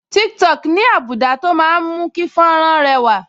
Tiktok ní́ àbùdá tó máa ń mú kí fọ́nrán rẹwà